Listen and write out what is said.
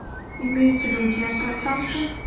имеются ли у тебя пацанки